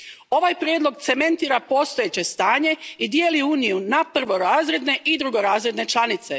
Ovaj prijedlog cementira postojeće stanje i dijeli Uniju na prvorazredne i drugorazredne članice.